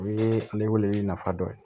O ye ale weleli nafa dɔ ye